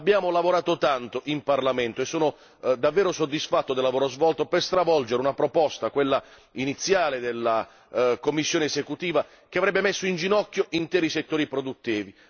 Abbiamo lavorato tanto in Parlamento e sono davvero soddisfatto del lavoro svolto per stravolgere una proposta, quella iniziale della Commissione esecutiva, che avrebbe messo in ginocchio interi settori produttivi.